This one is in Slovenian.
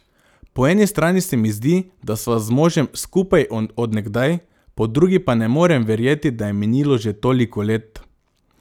Po eni strani se mi zdi, da sva z možem skupaj od nekdaj, po drugi pa ne morem verjeti, da je minilo že toliko let.